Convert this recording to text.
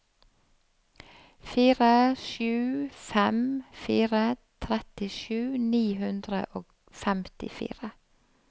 fire sju fem fire trettisju ni hundre og femtifire